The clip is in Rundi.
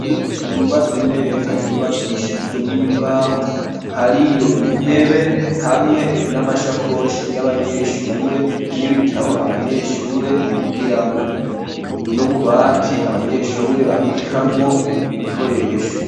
Ishure ryubatswe neza ryubakishijwe n'imbaho hariyo intebe hamwe n'amasakoshi y'abanyeshure n'ibitabo abanyeshure bigiramwo n'ububati abanyeshure babikamwo ibikoresho.